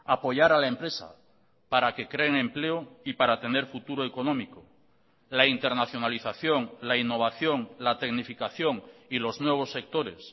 apoyar a la empresa para que creen empleo y para tener futuro económico la internacionalización la innovación la tecnificación y los nuevos sectores